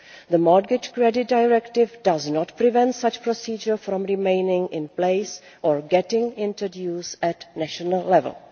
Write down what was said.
The Mortgage Credit Directive does not prevent such a procedure from remaining in place or being introduced at a national level.